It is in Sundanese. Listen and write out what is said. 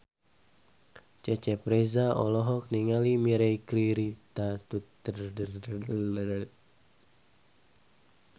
Cecep Reza olohok ningali Mirei Kiritani keur diwawancara